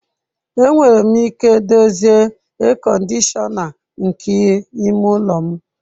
Enwere m ike dozie ea kọndishọna nke ime ụlọ m.